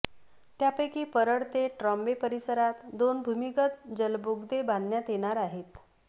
त्यापैकी परळ ते ट्रॉम्बे परिसरात दोन भूमिगत जलबोगदे बांधण्यात येणार आहेत